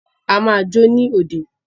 A máa jó ní òde.